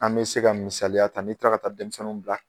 An bɛ se ka misaliya ta, n bi tila ka taa denmisɛnninw bila.